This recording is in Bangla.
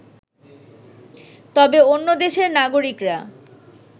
তবে অন্য দেশের নাগরিকরা